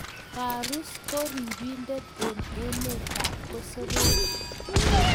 Tarus ko ripindet eng emetab kosopek